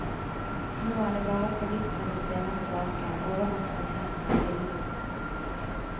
Nå er det bare forvitrete stener tilbake, overvokst med gress og villvin.